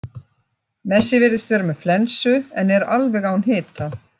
Messi virðist vera með flensu en er alveg án hita.